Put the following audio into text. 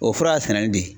O fura y'a sɛnnen de ye